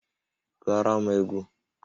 Gụọrọ m egwu!